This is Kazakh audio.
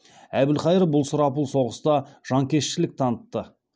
әбілқайыр бұл сұрапыл соғыста жанкештілік танытты